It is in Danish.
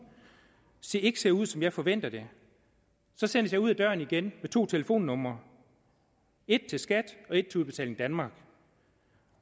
ikke ser ud som jeg forventer det så sendes jeg ud af døren igen med to telefonnumre et til skat og et til udbetaling danmark